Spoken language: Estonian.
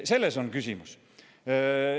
Selles on küsimus.